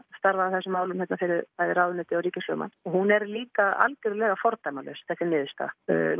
starfað að þessum málum hérna fyrir bæði ráðuneytið og ríkislögmann og hún er líka algjörlega fordæmalaus þessi niðurstaða